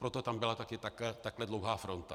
Proto tam byla také takhle dlouhá fronta.